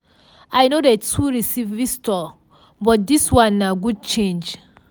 i no dey too receive visitor but dis one na good change.